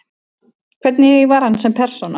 Hvernig var hann sem persóna?